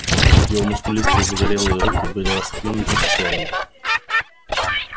его мускулистые загорелые руки были раскинуты в стороны